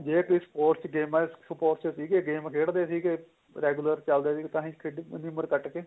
ਜੇ ਕੋਈ sports ਗੇਮਾ ਚ sponsor ਸੀਗੇ game ਖੇਡਦੇ ਸੀਗੇ regular ਚੱਲਦੇ ਸੀ ਤਾਹੀ ਇੰਨੀ ਉਮਰ ਕੱਟ ਗੇ